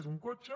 és un cotxe